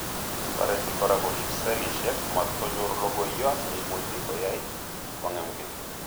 Toreti kora korib selishek matkonyor logoiyot neimuchi koyai kong'emgei